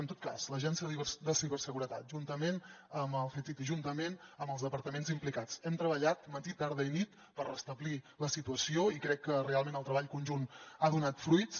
en tot cas l’agència de ciberseguretat juntament amb el ctti juntament amb els departaments implicats hem treballat matí tarda i nit per restablir la situació i crec que realment el treball conjunt ha donat fruits